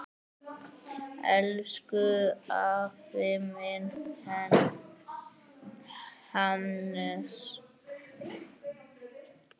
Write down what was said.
Elsku afi minn, Hannes.